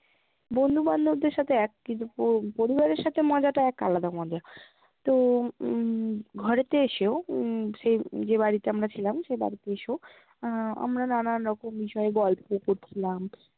বন্ধু বান্ধবদের সাথে এক কিন্তু পরিবারের সাথে মজাটা এক আলাদা মজা তো, উম ঘরেতে এসেও উম সে, যে বাড়িতে আমরা ছিলাম, সে বাড়িতে এসেও আহ আমরা নানান রকম বিষয় গল্প করছিলাম